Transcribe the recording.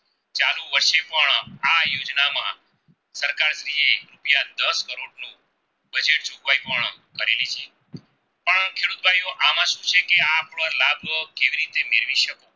બની શકે આ આપનો લાભો કેવી રિયે મેળવી શકે.